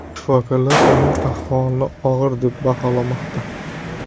Shifokorlar uning ahvolini og‘ir deb baholamoqda.